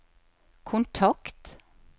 kontakt